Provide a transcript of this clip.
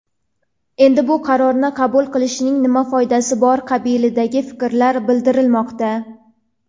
endi bu qarorni qabul qilishning nima foydasi bor qabilida fikrlar bildirilmoqda.